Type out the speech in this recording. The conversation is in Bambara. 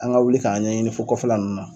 An ka wuli k'a ɲɛɲini fo kɔfɛ la ninnu na.